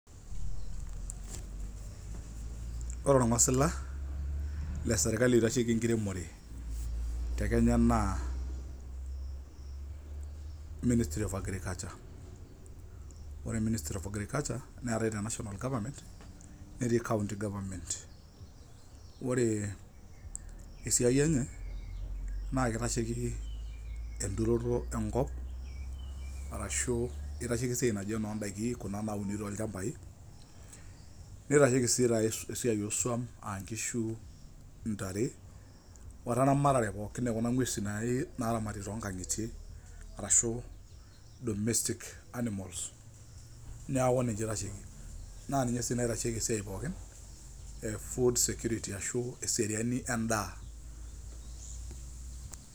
Ore orng'osila lesirkali oitasheki enkiremore te Kenya naa Ministry of Agriculture. Ore Ministry of Agriculture, neetae te National Government, netii county government. Ore esiai enye, naa kitasheki enturoto enkop, arashu itasheki esiai naji enoodaiki kuna nauni tolchambai, nitasheki si take esiai osuam ah nkishu, intare, weramatare pookin okuna ng'uesi naramati tonkang'itie arashu domestic animals, neeku ninche itasheki. Na ninye si naitasheki esiai pookin e food security ashu eseriani endaa.